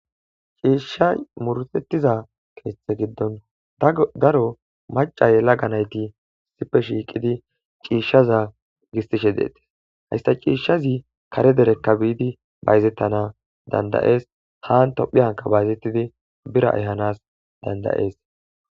ciishshay mursettiza keethe giddon daro macay laganayti sippe shiiqidi ciishshaza gistishe deetes hayssa ciishshazi kare derekka biidi bayzettana dandayees haan tophi hanka bayzettidi bira ehanas dandayees